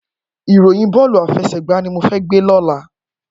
Iróyìn bòlú áfèsègbá ni mó fè gbé lòlá